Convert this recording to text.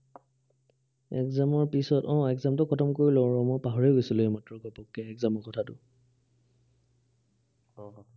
exam ৰ পিছত আহ exam টো খটম কৰি লওঁ ৰহ, মই পাহৰিয়ে গৈছিলোঁ এইমাত্ৰ ঘপকে exam ৰ কথাটো আহ